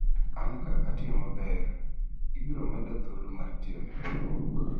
an ka atiyo maber , ibiro meda thuolo mar tiyo ne riwruok